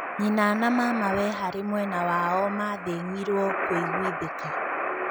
Nyina na mamawe harĩ mwena wao mathĩng'irwo kũiguithĩka.